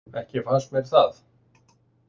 Ekki fannst mér það.